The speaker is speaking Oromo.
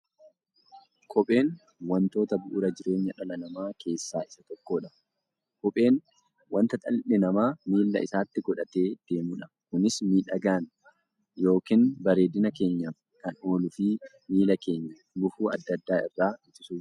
Kopheen wantoota bu'uura jireenya dhala namaa keessaa isa tokkodha. Kopheen wanta dhalli namaa miilla isaatti godhatee deemudha. Kunis miidhagani yookiin bareedina keenyaf kan ooluufi miilla keenya gufuu adda addaa irraa ittisuuf gargaara.